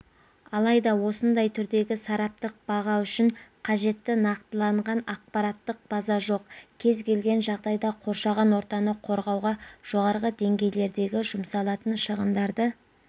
алайда осындай түрдегі сараптық баға үшін қажет нақтыланған ақпараттық база жоқ кез келген жағдайда қоршаған ортаны қорғауға жоғары деңгейлердегі жұмсалатын шығындарды